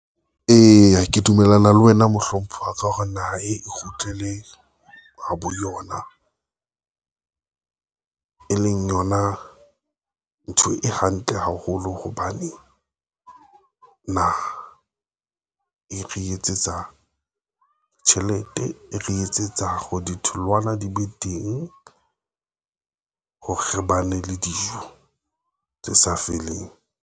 Eya, ke dumellana le wena. Mohlomphehi wa tseba hore naha e kgutlele ho bo yona, e leng yona ntho e hantle haholo hobane naha e re etsetsa tjhelete e re etsetsa hore ditholwana di be teng hore ba ne le dijo tse sa feleng.